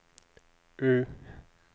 U